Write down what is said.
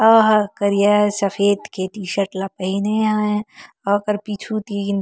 ओहर करिया सफ़ेद के टीशर्ट ला पहने हें अऊ ओकर पीछू तीन--